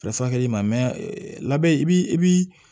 furakɛli ma mɛn labɛn i b'i